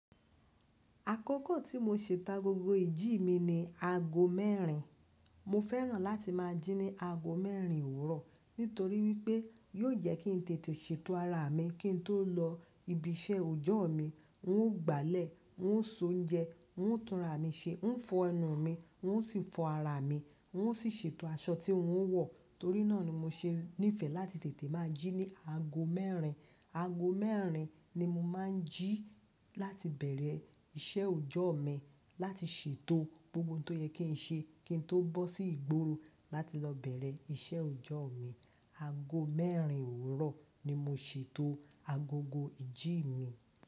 Àkókò tí mo si ta agogo ìjí mi ni aago mẹ́rin. Mo fẹ́ràn láti máa jí ní aago mẹ́rin òwúrọ̀ nítorí wípé yóò jẹ́ kí n tètè ṣètò ara mi kí n tó lọ ibi iṣẹ́ ọjọ́ mi. N óò gbálẹ̀, n óò soúnjẹ, n óò túnra mi ṣe, n óò fọ ẹnu mi, n óò sì fọ ara mi, n óò sì ṣètò aṣọ tí n óò wọ̀. Torí náà ni mo ṣe nífẹ̀ẹ́ láti tètè máa jí ní aago mẹ́rin. Aago mẹ́rin ni mo máa ń jí láti bẹ̀rẹ̀ iṣẹ́ ọjọ́ mi, láti ṣètò gbogbo ohun tó yẹ kí n ṣe kí n tó bọ́ sí ìgboro láti lọ bẹ̀rẹ̀ iṣẹ́ ọjọ́ mi. Aago mẹ́rin òwúrọ̀ ni mo ṣètò agogo ìjí mi.